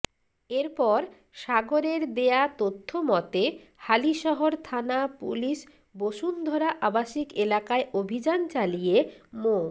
এরপর সাগরের দেয়া তথ্যমতে হালিশহর থানা পুলিশ বসুন্ধরা আবাসিক এলাকায় অভিযান চালিয়ে মো